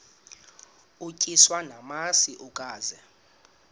utyiswa namasi ukaze